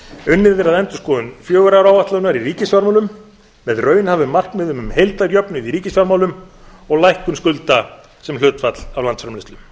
unnið er að endurskoðun fjögurra ára áætlunar í ríkisfjármálum með raunhæfum markmiðum um heildarjöfnuð í ríkisfjármálum og lækkun skulda sem hlutfall af landsframleiðslu